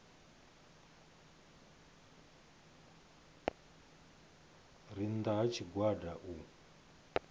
re nnda ha tshigwada u